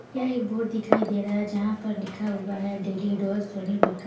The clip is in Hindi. यह एक बोर्ड दिखाई दे रहा है जहाँ पर लिखा हुआ है डेली डोज़ सोनी बे --